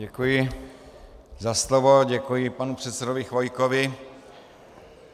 Děkuji za slovo, děkuji panu předsedovi Chvojkovi.